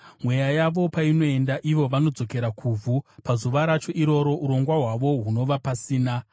Mweya yavo painoenda, ivo vanodzokera kuvhu; pazuva racho iroro urongwa hwavo hunova pasina.